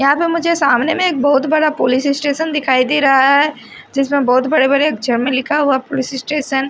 यहां पे मुझे सामने में एक बहुत बड़ा पुलिस स्टेशन दिखाई दे रहा हैं जिसमें बहुत बड़े बड़े अक्षर में लिखा हुआ पुलिस स्टेशन ।